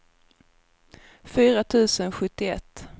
fyra tusen sjuttioett